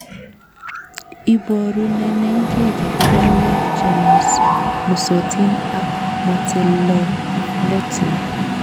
Iborunenenkei kebeberwek chemusmusotin ak motelelotin.